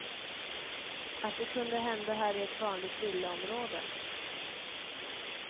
Att det kunde hända här i ett vanligt villaområde.